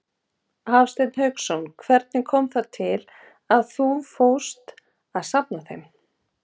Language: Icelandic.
Hafsteinn Hauksson: Hvernig kom það til að þú fórst að safna þeim?